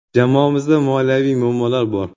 Jamoamizda moliyaviy muammolar bor.